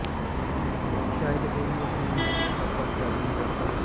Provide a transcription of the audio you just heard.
ਸ਼ਾਇਦ ਇਹ ਵੀ ਆਪਣੇ ਨਿੱਜੀ ਖਾਕਾ ਡਰਾਇੰਗ ਨੂੰ ਵਰਤਣ